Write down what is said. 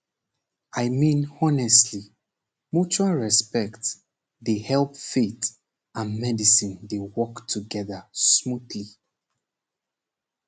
i mean honestly mutual respect dey help faith and medicine dey work together smoothly